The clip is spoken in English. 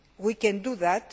We can do that.